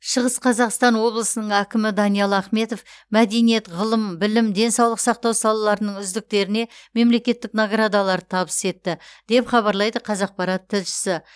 шығыс қазақстан облысының әкімі даниал ахметов мәдениет ғылым білім денсаулық сақтау салаларының үздіктеріне мемлекеттік наградаларды табыс етті деп хабарлайды қазақпарат тілшісі